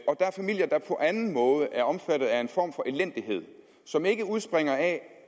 er familier der på anden måde er omfattet af en form for elendighed som ikke udspringer af